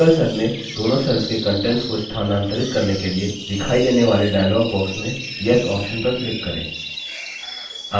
single cells में दोनों cells के contents को स्थानांतरित करने के लिए दिखाई देने वाले dialog box में yes option पर click करें